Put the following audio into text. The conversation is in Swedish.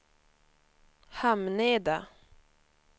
Hamneda